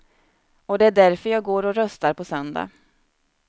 Och det är därför jag går och röstar på söndag.